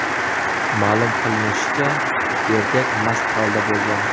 Ma’lum qilinishicha, erkak mast holda bo‘lgan.